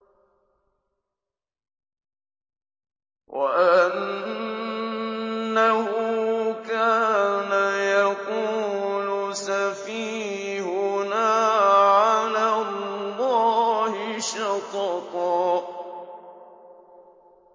وَأَنَّهُ كَانَ يَقُولُ سَفِيهُنَا عَلَى اللَّهِ شَطَطًا